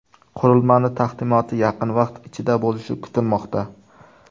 Qurilmaning taqdimoti yaqin vaqt ichida bo‘lishi kutilmoqda.